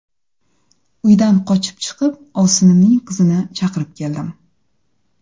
Uydan qochib chiqib, ovsinimning qizini chaqirib keldim.